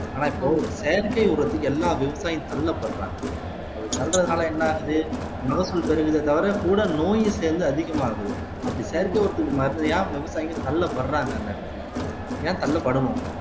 ஆனா இப்போ செயற்கை உரத்துக்கு எல்லா விவசாயிகளும் தள்ளப்படுறாங்க அப்படி தள்ளுறதுனால என்ன ஆகுது மகசூல் பெருகுதே தவிர கூட நோயும் சேர்ந்து அதிகமாகுது அப்படி செயற்கை உரத்துக்கு விவசாயிங்க தள்ளப்படுறாங்க அந்த இடத்துல ஏன் தள்ளப்படணும்